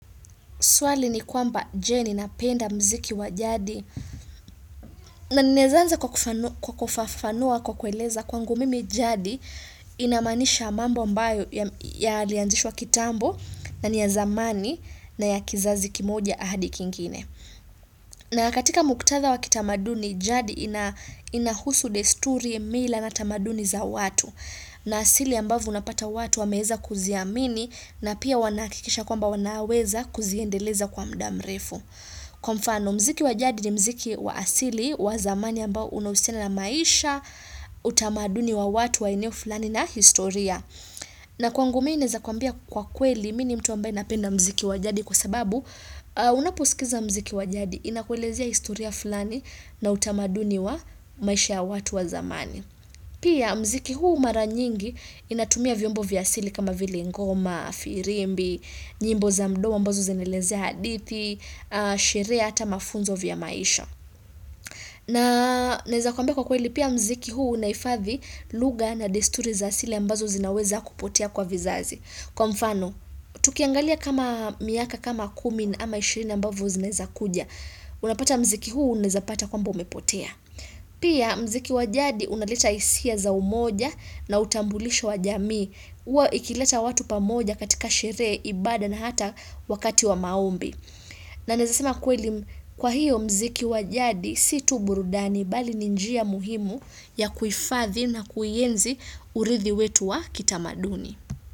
Swali ni kwamba je ni napenda mziki wa jadi na ninaezaanza kwa kufafanua kwa kueleza kwangu mimi jadi inamaanisha mambo ambayo yalianzishwa kitambo na niya zamani na ya kizazi kimoja ahadi kingine. Na katika muktatha wakitamaduni, jadi inahusu desturi mila natamaduni za watu. Na asili ambavu unapata watu wameeza kuziamini na pia wanahakikisha kwamba wanaweza kuziendeleza kwa mdamrefu. Kwa mfano, mziki wajadi ni mziki wa asili, wazamani ambao unahusina na maisha, utamaduni wa watu waeneo fulani na historia. Na kwangu mi naezakwambia kwa kweli mini mtu ambaye napenda mziki wajadi kwa sababu unaposikiza mziki wajadi inakwelezea historia fulani na utamaduni wa maisha ya watu wa zamani. Pia mziki huu maranyingi inatumia vyombo vyasili kama vilengoma, firimbi, nyimbo za mdomo ambazo zinelezea hadithi, sherehe ata mafunzo vya maisha. Na naeza kwamba kwa kweli pia mziki huu unaifathi lugha na desturi za asili ambazo zinaweza kupotea kwa vizazi. Kwa mfano, tukiangalia kama miaka kama kumi ama 20 ambavo zinaeza kuja. Unapata mziki huu unawezapata kwa mba umepotea. Pia mziki wajadi unaleta hisia za umoja na utambulisho wajamii. Huwa ikileta watu pamoja katika sherehe, ibada na hata wakati wa maombi. Na nawezasema kweli kwa hiyo mziki wajadi situburudani bali ni njia muhimu ya kuifathi na kuienzi uridhi wetu wa kitamaduni.